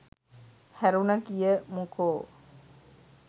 හැරුන කියමුකෝ